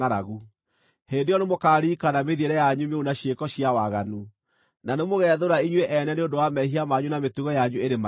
Hĩndĩ ĩyo nĩmũkaririkana mĩthiĩre yanyu mĩũru na ciĩko cia waganu, na nĩmũgethũũra inyuĩ ene nĩ ũndũ wa mehia manyu na mĩtugo yanyu ĩrĩ magigi.